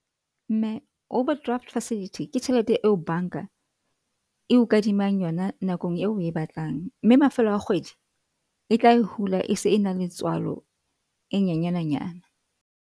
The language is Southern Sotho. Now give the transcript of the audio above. Mme, overdraft facility ke tjhelete eo bank-a e o kadimang yona nakong eo oe batlang mme mafelo a kgwedi e tla e hula. E se e na le tswalo e nyenyane nyana.